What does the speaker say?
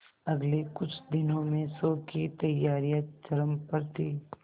अगले कुछ दिनों में शो की तैयारियां चरम पर थी